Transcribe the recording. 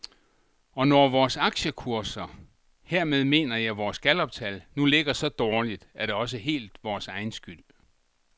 Og når vores aktiekurser, hermed mener jeg vores galluptal, nu ligger så dårligt, er det også helt vores egen skyld.